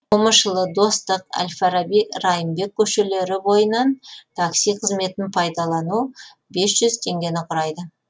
момышұлы достық әл фараби райымбек көшелері бойынан такси қызметін пайдалану бес жүз теңгені құрайды